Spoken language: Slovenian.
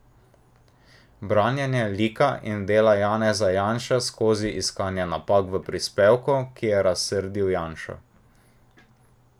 Branjenje lika in dela Janeza Janše skozi iskanje napak v prispevku, ki je razsrdil Janšo.